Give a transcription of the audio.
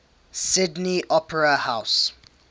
sydney opera house